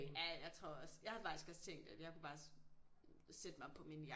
Ja jeg tror også jeg havde faktisk også tænkt at jeg kunne bare sætte mig på min